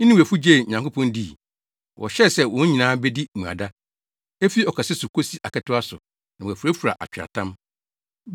Ninewefo gyee Nyankopɔn dii. Wɔhyɛɛ sɛ wɔn nyinaa bedi mmuada, efi ɔkɛse so kosi aketewa so, na wɔafurafura atweaatam.